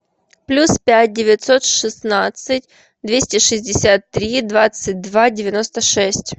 плюс пять девятьсот шестнадцать двести шестьдесят три двадцать два девяносто шесть